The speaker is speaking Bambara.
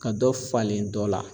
Ka dɔ falen dɔ la